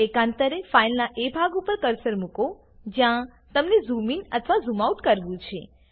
એકાંતરે ફાઈલનાં એ ભાગ ઉપર કર્સર મુકો જ્યાં તમને ઝૂમ ઇન અથવા આઉટ કરવું છે